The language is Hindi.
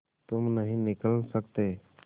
तुम नहीं निकल सकते